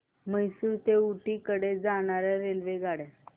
म्हैसूर ते ऊटी कडे जाणार्या रेल्वेगाड्या